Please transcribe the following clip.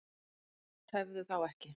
Tefðu þá ekki.